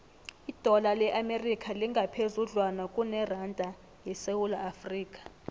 idola le amerika lingaphezudlwana kuneranda yesewula afrika